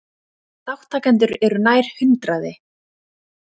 Þátttakendur eru nær hundraði